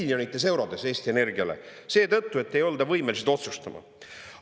Miljonites eurodes Eesti Energiale seetõttu, et ei olda võimelised otsustama.